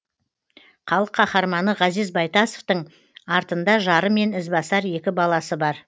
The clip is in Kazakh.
халық қаһарманы ғазиз байтасовтың артында жары мен ізбасар екі баласы бар